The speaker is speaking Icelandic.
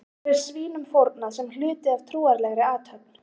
þar er svínum fórnað sem hluti af trúarlegri athöfn